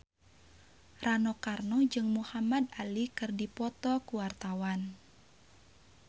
Rano Karno jeung Muhamad Ali keur dipoto ku wartawan